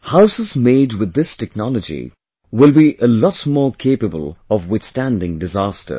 Houses made with this technology will be lot more capable of withstanding disasters